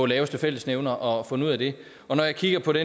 laveste fællesnævner og fundet ud af det og når jeg kigger på det